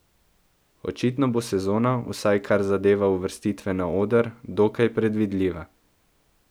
Očitno bo sezona, vsaj kar zadeva uvrstitve na oder, dokaj predvidljiva.